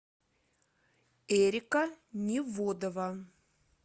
эрика неводова